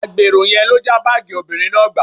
Agbèrò yẹn ló já báàgì obìnrin náà gbà